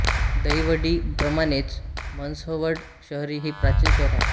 दहिवडी प्रमाणेच म्हसवड शहर ही प्राचीन शहर आहे